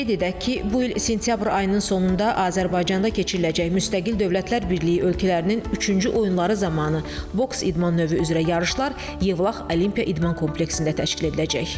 Qeyd edək ki, bu il sentyabr ayının sonunda Azərbaycanda keçiriləcək Müstəqil Dövlətlər Birliyi ölkələrinin üçüncü oyunları zamanı boks idman növü üzrə yarışlar Yevlax Olimpiya İdman kompleksində təşkil ediləcək.